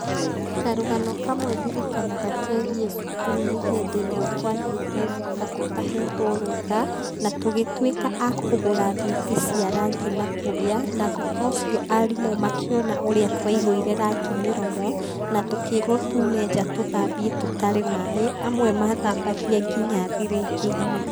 Karũgano kamwe ndirikanaga kegiĩ cukuru nĩ hĩndĩ ĩmwe twathiĩte nduka tũtahetwo rũtha ,na tũgĩtuĩka a kũgũra thwiti cia rangi na kũrĩa, na thutha ũcio arimũ makĩona ũria twaihũire rangi mĩromo, na tũkĩrwo túumenja tũthambie tũtarĩ maaĩ, amwe mathambagie nginya thirĩngĩ-inĩ.